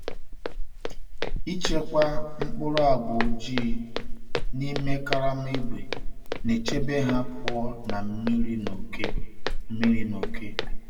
Ịchekwa um mkpụrụ agwa ojii um n’ime karama ígwè um na-echebe ha pụọ na mmiri na oke. mmiri na oke.